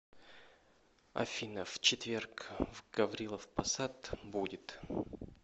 афина в четверг в гаврилов посад будет